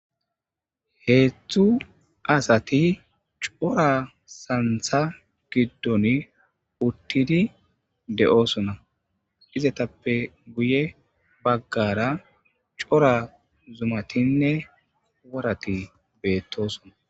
Hedzdzu asati cora santha gidon utid de'osona, heysati cora santha gidon utid de'osona izetappe guye bagara cora zumatinne worati betosona